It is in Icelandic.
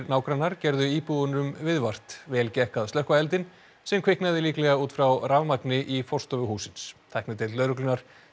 nágrannar gerðu íbúum viðvart vel gekk að slökkva eldinn sem kviknaði líklega út frá rafmagni í forstofu hússins tæknideild lögreglunnar